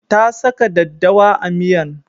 Ta saka daddawa a miyan